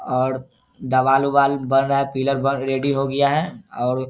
और दीवाल उवाल बन रहा है । पिलर बन रेडी है और --